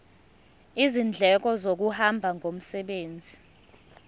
izindleko zokuhamba ngomsebenzi